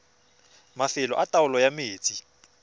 mafelo a taolo ya metsi